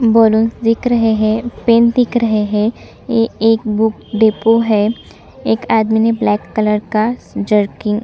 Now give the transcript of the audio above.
balloon दिख रहे है पेन दिख रहे है ये एक बुक डिपो है एक आदमी ने ब्लैक कलर का जर्किन --